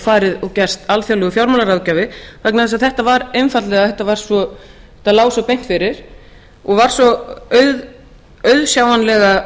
farið og gerst alþjóðlegur fjármálaráðgjafi vegna þess að þetta lá svo beint fyrir og var svo auðsjáanlega